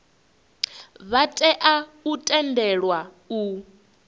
vha tea u tendelwa u